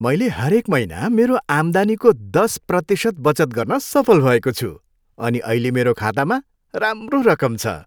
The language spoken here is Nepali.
मैले हरेक महिना मेरो आम्दानीको दस प्रतिशत बचत गर्न सफल भएको छु अनि अहिले मेरो खातामा राम्रो रकम छ।